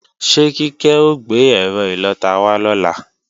Ṣé Kíkẹ́ ó gbé ẹ́rọ ìlọta wá lọ́la?